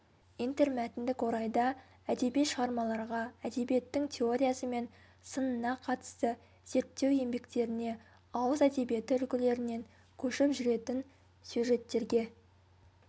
интермәтіндік орайда әдеби шығармаларға әдебиеттің теориясы мен сынына қатысты зерттеу еңбектеріне ауыз әдебиеті үлгілерінен көшіп жүретін сюжеттерге